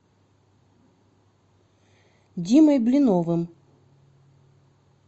димой блиновым